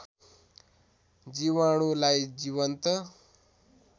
जीवाणुलाई जीवन्त